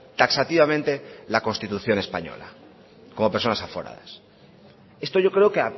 taxativamente la constitución española como personas aforadas esto yo creo que